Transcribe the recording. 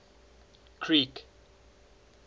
creek